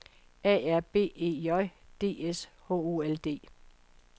A R B E J D S H O L D